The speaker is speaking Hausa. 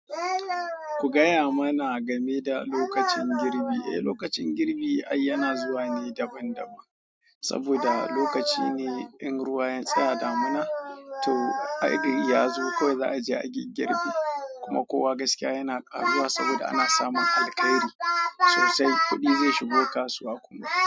Ku gaya mana game da lokacin girbi. Eh, lokacin girbi yana zuwa ne daban-daban saboda lokaci ne ɗin ruwa ya tsaya damina to ai don ya zo, kawai za a je a yi girbi kuma kowa gaskiya yana ƙaruwa saboda ana samun alkairi sosai, kuɗi zai shigo kasuwa kuma.